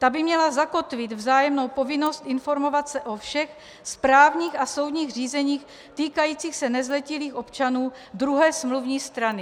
Ta by měla zakotvit vzájemnou povinnost informovat se o všech správních a soudních řízeních týkajících se nezletilých občanů druhé smluvní strany.